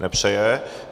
Nepřeje.